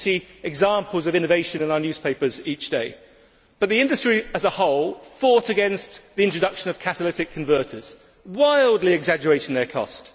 We see examples of innovation in our newspapers each day, but the industry as a whole fought against the introduction of catalytic converters, wildly exaggerating their cost.